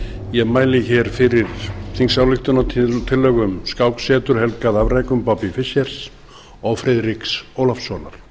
ég mæli hér fyrir þingsályktunartillögu um skáksetur helgað afrekum bobbys fischers og friðriks ólafssonar